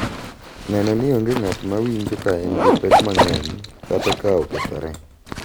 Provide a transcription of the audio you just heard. Neno ni onge ng’at ma winjo ka en gi pek mang’eny kata ka okethore.